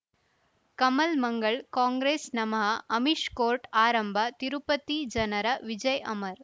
ಕಮಲ್ ಮಂಗಳ್ ಕಾಂಗ್ರೆಸ್ ನಮಃ ಅಮಿಷ್ ಕೋರ್ಟ್ ಆರಂಭ ತಿರುಪತಿ ಜನರ ವಿಜಯ್ ಅಮರ್